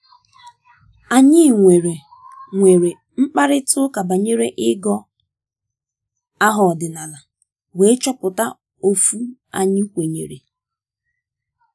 um anyị nwere um nwere um mkparịta ụka banyere igọ um aha ọdịnala wee chọpụta ofu anyị kwenyere